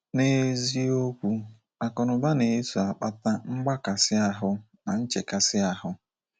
N’eziokwu, akụnụba na - eso akpata mgbakasi ahu na nchekasị ahu.